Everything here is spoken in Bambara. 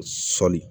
Sɔli